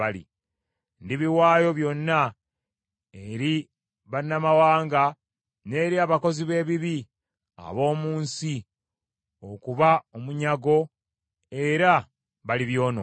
Ndibiwaayo byonna eri bannamawanga n’eri abakozi b’ebibi ab’omu nsi okuba omunyago era balibyonoona.